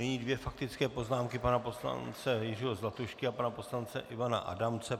Nyní dvě faktické poznámky, pana poslance Jiřího Zlatušky a pana poslance Ivana Adamce.